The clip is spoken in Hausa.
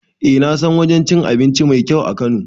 Eh nasan wajen cin abinci mai kyau a kano